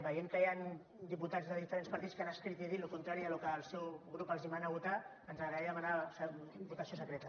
veient que hi han diputats de diferents partits que han escrit i dit el contrari del que el seu grup els mana votar ens agradaria demanar votació secreta